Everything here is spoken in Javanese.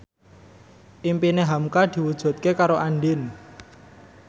impine hamka diwujudke karo Andien